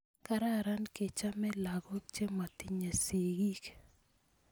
kararan kechome lakok chematinye sikiik